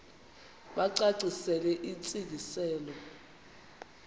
bacacisele intsi ngiselo